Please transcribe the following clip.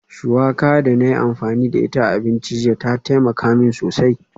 Shuwaka da na yi amfani da ita a abinci jiya ta taimaka min sosai